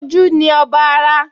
Ojú ni ọba ara